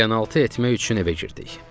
Qəlyanaltı etmək üçün evə girdik.